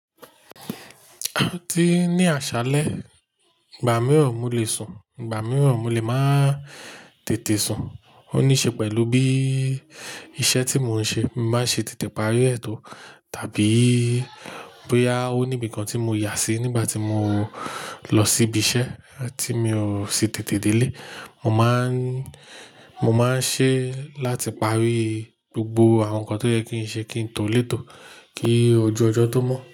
Ti ni àṣálẹ́, ìgbà mìíràn mo lè sùn, ìgbà mìíràn mo lè máa tètè sùn. Ó níí ṣe pẹ̀lú bí iṣẹ́ tí mò ń ṣe, máa ṣe tètè parí ètò tàbí bóyá ó ní ibìkan tí mo yà sí nígbà tí mò ń lọ síbi iṣẹ́ tí mi ò sí tètè délé. Mo máa ń, mo máa ń ṣe láti parí gbogbo àwọn nǹkan tó yẹ kí n ṣe kí n tó lé ètò kí ojú ọjọ́ tó mọ́